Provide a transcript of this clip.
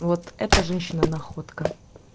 вот эта женщина находка